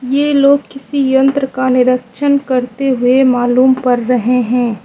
ये लोग किसी यंत्र का निरक्षण करते हुए मालूम पड़ रहे हैं।